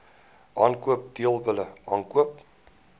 aankoop teelbulle aankoop